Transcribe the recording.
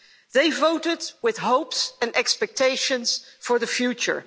They voted with hopes and expectations for the future.